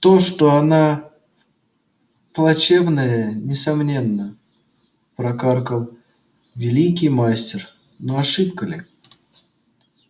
то что она плачевная несомненно прокаркал великий мастер но ошибка ли